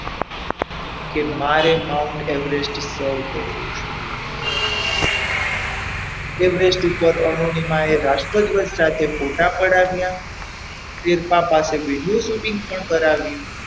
કે મારે Mount Everest સર કરવો છે Everest ઉપર અરુણિમાએ રાષ્ટ્રધ્વજ સાથે ફોટા પડાવ્યા શેરપા પાસે video shooting પણ કરાવ્યું.